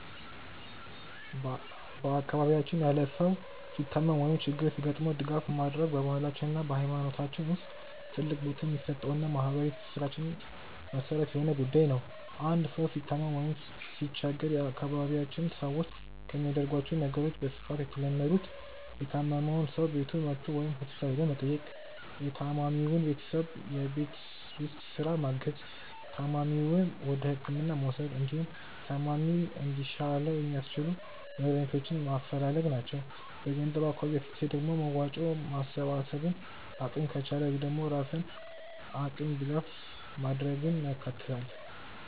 በአካባቢያችን ያለ ሰው ሲታመም ወይም ችግር ሲገጥመው ድጋፍ ማድረግ በባህላችን እና በሃይማኖታችን ውስጥ ትልቅ ቦታ የሚሰጠውና የማህበራዊ ትስስራችን መሰረት የሆነ ጉዳይ ነው። አንድ ሰው ሲታመም ወይም ሲቸገር የአካባቢያችን ሰዎች ከሚያደርጓቸው ነገሮች በስፋት የተለመዱት:- የታመመውን ሰው ቤቱ መጥቶ ወይም ሆስፒታል ሄዶ መጠየቅ፣ የታማሚውን ቤተሰብ የቤት ውስጥ ስራ ማገዝ፣ ታማሚውን ወደህክምና መውሰድ፣ እንዲሁም ታማሚው እንዲሻለው የሚያስችሉ መድሃኒቶችን ማፈላለግ ናቸው። በገንዘብ አኳያ ሲታይ ደግሞ መዋጮ ማሰባሰብን፣ አቅም ከቻለ ደግሞ በራስ አቅም ድጋፍ ማድረግን ያካትታል።